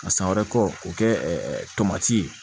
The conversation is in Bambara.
Ka san wɛrɛ k'o kɛ tomati ye